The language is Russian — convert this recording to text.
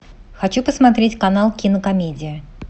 хочу посмотреть канал кинокомедия